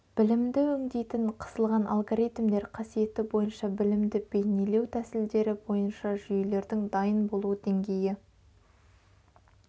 білімді өңдейтін қысылған алгоритмдер қасиеті бойынша білімді бейнелеу тісілдері бойынша жүйелердің дайын болу деңгейі